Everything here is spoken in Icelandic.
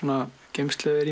geymsla